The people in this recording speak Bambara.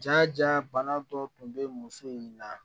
Ja ja bana dɔ tun bɛ muso in na